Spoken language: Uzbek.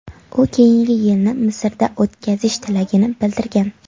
U keyingi yilni Misrda o‘tkazish tilagini bildirgan.